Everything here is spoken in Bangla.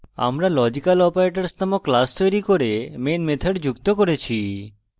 আমরা logical অপারেটরস নামক class তৈরী করে main method যুক্ত করেছি